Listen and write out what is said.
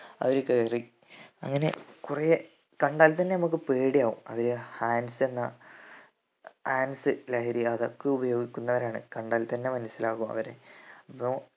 അവര് കയറി അങ്ങനെ കൊറേ കണ്ടാൽ തന്നെ നമ്മക്ക് പേടിയാവും അത് hans എന്ന hans ലഹരി അതൊക്കെ ഉപയോഗിക്കുന്നവരാണ് കണ്ടാൽ തന്നെ മനസിലാകും അവരെ